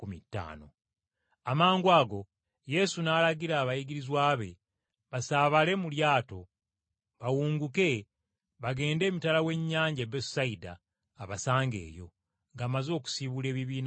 Amangwago Yesu n’alagira abayigirizwa be basaabale mu lyato bawunguke bagende emitala w’ennyanja e Besusayida abasange eyo, ng’amaze okusiibula ebibiina by’abantu.